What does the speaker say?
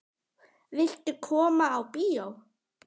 Viltu koma á bíó?